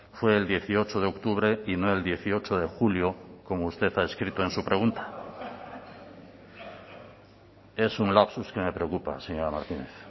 fue el dieciocho de octubre y no el dieciocho de julio como usted ha escrito en su pregunta es un lapsus que me preocupa señora martínez